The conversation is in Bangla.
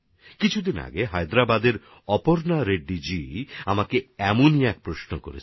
কিছুদিন আগে হায়দ্রাবাদের অপর্ণা রেড্ডিজি এরকমই একটা প্রশ্ন আমাকে করেছেন